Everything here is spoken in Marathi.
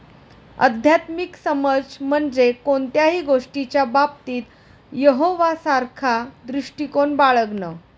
आध्यात्मिक समज म्हणजे कोणत्याही गोष्टीच्या बाबतीत यहोवासारखा दृष्टिकोन बाळगणं.